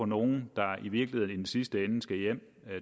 nogle der i virkeligheden i den sidste ende skal hjem